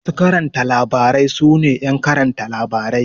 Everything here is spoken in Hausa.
Masu karanta labarai su ne ƴan karanta labarai.